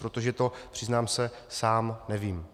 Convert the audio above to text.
Protože to, přiznám se, sám nevím.